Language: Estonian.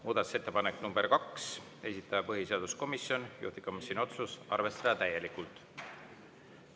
Muudatusettepanek nr 2, esitaja põhiseaduskomisjon, juhtivkomisjoni otsus: arvestada täielikult.